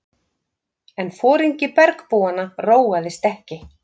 En foringi bergbúanna róaðist ekki.